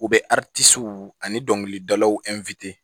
U bɛ ani dɔnkilidalaw